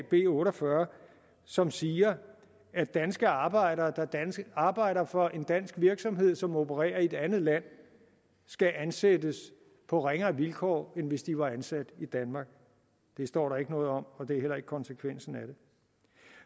b otte og fyrre som siger at danske arbejdere der arbejder for en dansk virksomhed som opererer i et andet land skal ansættes på ringere vilkår end hvis de var ansat i danmark det står der ikke noget om og det er heller ikke konsekvensen af det